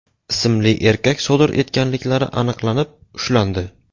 ismli erkak sodir etganliklari aniqlanib, ushlandi.